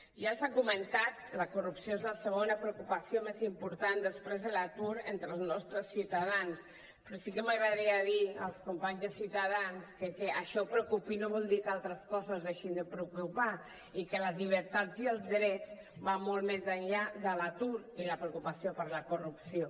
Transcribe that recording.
ja s’ha comentat que la corrupció és la segona preocupació més important després de l’atur entre els nostres ciutadans però sí que m’agradaria dir als companys de ciutadans que el fet que això preocupi no vol dir que altres coses deixin de preocupar i que les llibertats i els drets van molt més enllà de l’atur i la preocupació per la corrupció